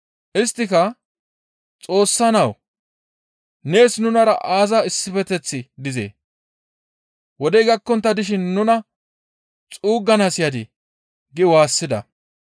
Isttika, «Xoossa Nawu! Nees nunara aaza issifeteththi dizee? Wodey gakkontta dishin nuna xuuggana yadii?» gi waassida.